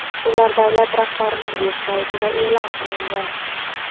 ular davlat rahbarining veb-saytida e’lon qilingan.